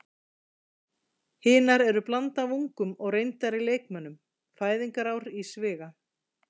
Hinar eru blanda af ungum og reyndari leikmönnum, fæðingarár í sviga.